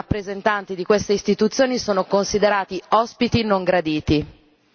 i rappresentanti di queste istituzioni sono considerati ospiti non graditi.